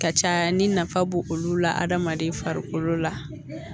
Ka ca ni nafa b'o olu la adamaden farikolo la